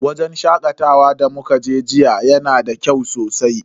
Wajen shakatawan da muka je jiya yana da kyau sosai.